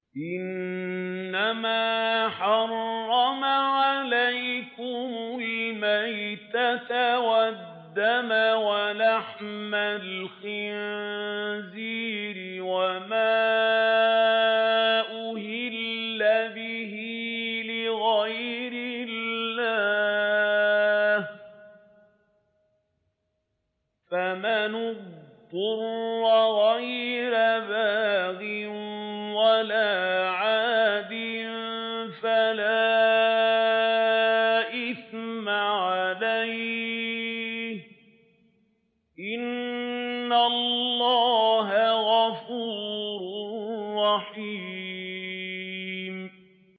إِنَّمَا حَرَّمَ عَلَيْكُمُ الْمَيْتَةَ وَالدَّمَ وَلَحْمَ الْخِنزِيرِ وَمَا أُهِلَّ بِهِ لِغَيْرِ اللَّهِ ۖ فَمَنِ اضْطُرَّ غَيْرَ بَاغٍ وَلَا عَادٍ فَلَا إِثْمَ عَلَيْهِ ۚ إِنَّ اللَّهَ غَفُورٌ رَّحِيمٌ